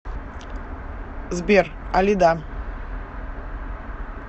сбер алида